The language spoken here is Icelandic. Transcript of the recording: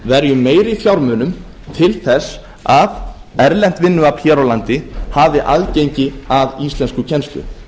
verjum meiri fjármunum til þess að erlent vinnuafl hér á landi hafi aðgengi að íslenskukennslu